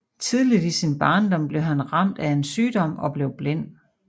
Tidligt i sin barndom blev han ramt af en sygdom og blev blind